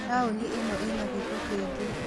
Taũni ĩno ĩna gĩko kĩingĩ